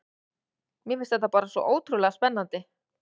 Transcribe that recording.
Mér fannst þetta bara svo ótrúlega spennandi.